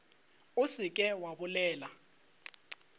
o se ke wa bolela